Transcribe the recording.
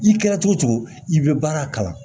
I kɛra cogo cogo i bɛ baara kalan